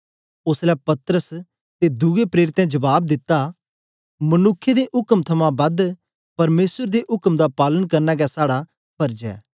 ओसलै पतरस ते दुए प्रेरितें जबाब दिता मनुक्खें दे उक्म थमां बद परमेसर दे उक्म दा पालन करना गै साड़ा फर्ज ऐ